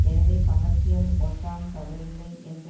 எனவே கமர்ஷியல் ஒன்றாம் தவறில்லை என்ற